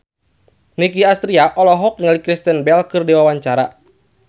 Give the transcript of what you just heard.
Nicky Astria olohok ningali Kristen Bell keur diwawancara